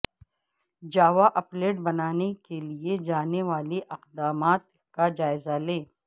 جاوا applet بنانے کے لے جانے والے اقدامات کا جائزہ لیں